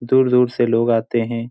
दूर-दूर से लोग आते है।